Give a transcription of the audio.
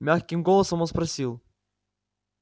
мягким голосом он спросил